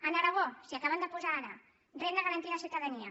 a aragó s’hi acaben de posar ara renda garantida de ciutadania